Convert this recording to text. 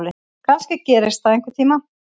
Kannski gerist það einhvern tíma.